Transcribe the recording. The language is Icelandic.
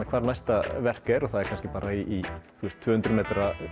hvar næsta verk er það er kannski í tvö hundruð m